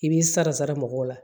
I b'i sara sara mɔgɔw la